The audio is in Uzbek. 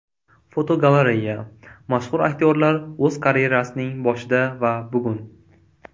Fotogalereya: Mashhur aktyorlar o‘z karyerasining boshida va bugun.